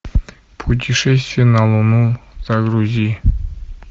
путешествие на луну загрузи